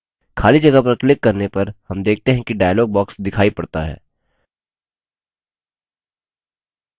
खाली जगह पर क्लिक करने पर हम देखते हैं कि dialog box दिखाई पड़ता है